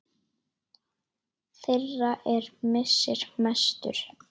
Þeirra er missir mestur.